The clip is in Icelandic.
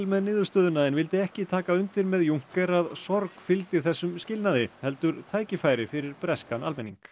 með niðurstöðuna en vildi ekki taka undir með að sorg fylgdi þessum skilnaði heldur tækifæri fyrir breskan almenning